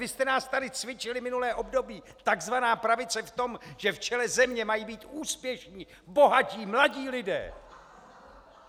Vy jste nás tady cvičili minulé období, takzvaná pravice, v tom, že v čele země mají být úspěšní, bohatí, mladí lidé!